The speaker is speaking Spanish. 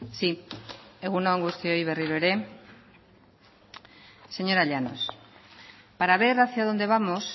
si egun on guztioi berriro ere señora llanos para ver hacia dónde vamos